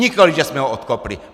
Nikoliv že jsme ho odkopli!